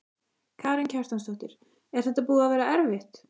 Karen Kjartansdóttir: Er þetta búið að vera erfitt?